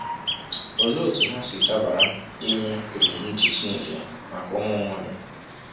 Olee otú ha si dabara n’ime ebumnuche Chineke maka ụmụ mmadụ?